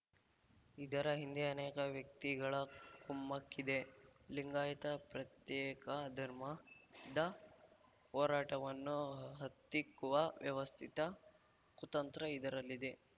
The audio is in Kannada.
ಇದರ ಹಿಂದೆ ಅನೇಕ ವ್ಯಕ್ತಿಗಳ ಕುಮ್ಮಕ್ಕಿದೆ ಲಿಂಗಾಯತ ಪ್ರತ್ಯೇಕ ಧರ್ಮದ ಹೋರಾಟವನ್ನು ಹತ್ತಿಕ್ಕುವ ವ್ಯವಸ್ಥಿತ ಕುತಂತ್ರ ಇದರಲ್ಲಿದೆ